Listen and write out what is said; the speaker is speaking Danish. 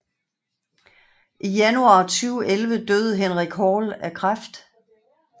I januar 2011 døde Henrik Hall af kræft